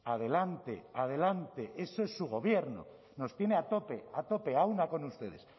adelante adelante eso es su gobierno nos tiene a tope a tope a una con ustedes